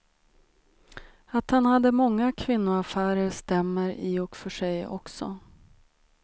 Att han hade många kvinnoaffärer stämmer i och för sig också.